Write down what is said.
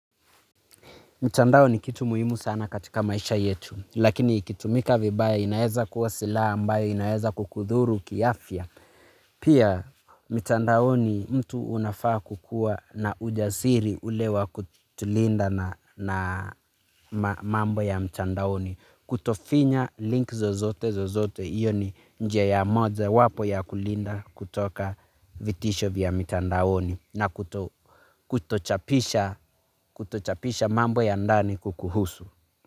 Mtandao ni kitu muhimu sana katika maisha yetu, lakini ikitumika vibaya inaeza kua sila ambayo inaeza kukudhuru kiafya. Pia, mtandaoni mtu unafaa kukua na ujasiri ule wa kutulinda na mambo ya mtandaoni. Kutofinya link zozote zozote, iyo ni nje ya moja wapo ya kulinda kutoka vitisho vya mtandaoni. Na kutochapisha mambo ya ndani kukuhusu.